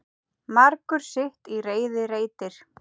Margur sitt í reiði reitir.